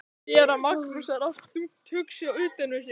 Séra Magnús var oft þungt hugsi og utan við sig.